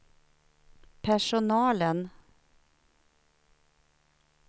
personalen